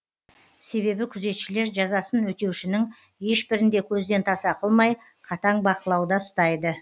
себебі күзетшілер жазасын өтеушінің ешбірін де көзден таса қылмай қатаң бақылауда ұстайды